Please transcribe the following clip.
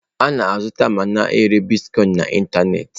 A na-azụta ma na-ere Bitkọin na ịntanetị.